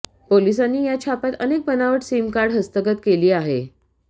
पोलिसांनी या छाप्यात अनेक बनावट सीमकार्ड हस्तगत केली आहे